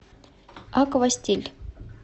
аквастиль